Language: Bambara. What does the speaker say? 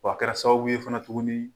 Wa a kɛra sababu ye fana tuguni